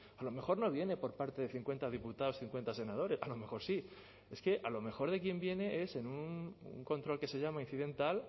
a lo mejor no viene por parte de cincuenta diputados cincuenta senadores a lo mejor sí es que a lo mejor de quien viene es en un control que se llama incidental